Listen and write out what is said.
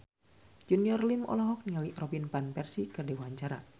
Junior Liem olohok ningali Robin Van Persie keur diwawancara